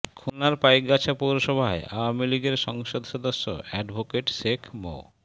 খুলনার পাইকগাছা পৌরসভায় আওয়ামী লীগের সংসদ সদস্য অ্যাডভোকেট শেখ মো